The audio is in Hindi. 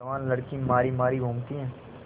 जवान लड़की मारी मारी घूमती है